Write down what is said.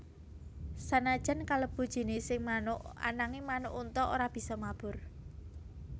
Sanajan kalebu jinising manuk ananging manuk unta ora bisa mabur